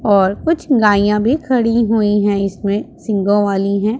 और कुछ गायीया भी खड़ी हुई हैं इसमें सींगों वाली हैं।